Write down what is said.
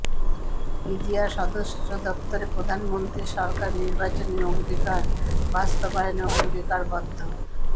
PGR সদর দপ্তরে প্রধানমন্ত্রী সরকার নির্বাচনী অঙ্গীকার বাস্তবায়নে অঙ্গীকারবদ্ধ